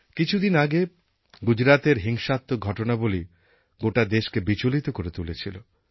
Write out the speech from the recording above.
কিছুদিন আগে গুজরাতের হিংসাত্মক ঘটনাবলী গোটা দেশকে বিচলিত করে তুলেছিল